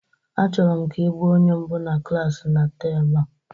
Achọrọ m ka ị gba onye mbụ na klasị na temụ a